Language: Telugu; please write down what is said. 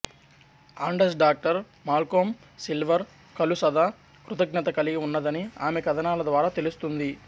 ఆడంస్ డాక్టర్ మాల్కోం సిల్వర్ కలు సదా కృతఙత కలిగి ఉన్నదని ఆమె కథనాల ద్వారా తెలుస్తుంది